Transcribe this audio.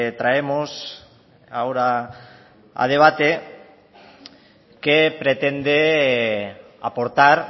traemos ahora a debate que pretende aportar